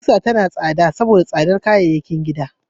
Ƙusa tana tsada saboda tsadar kayayyakin gini.